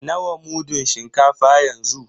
Nawa mudun shinkafa yanzu?